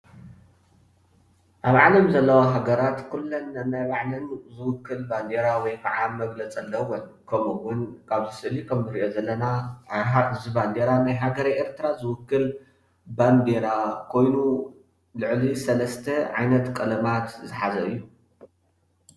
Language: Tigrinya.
ኣብ ዓለም ዘለዋ ሃገራት ኩለን ነናይ ባዕለን ዝውክል ባንዴራ ወይ ከዓ መግለፂ ኣለወን፡፡ ከምኡ እውን ኣብ ስእሊ እንሪኦ ዘለና ናይ ሓንቲ ባንዴራ ሃገሬ ኤርትራ ዝውክል ባንዴራ ኮይኑ ልዕሊ ሰለስተ ዓይነት ቀለማት ዝሓዘ እዩ፡፡